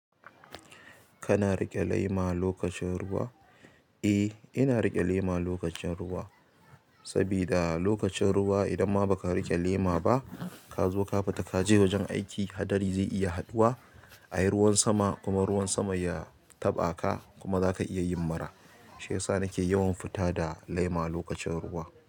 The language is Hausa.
Kana riƙe laima lokacin ruwa? Eh, ina riƙe lema lokacin ruwa. Sabida lokacin ruwa idan ma baka riƙe lema ba ka zo ka fita kaje wajen aiki hadari zai iya haduwa. Ayi ruwan sama kuma ruwan sama ya taɓa ka kuma zaka iya yin mura. Shiyasa nake yawan fita da lema lokacin ruwa.